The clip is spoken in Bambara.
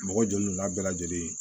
Mɔgɔ joli donna bɛɛ lajɛlen